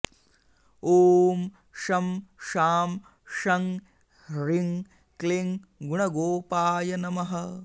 ॐ शं शां षं ह्रीं क्लीं गुणगोपाय नमः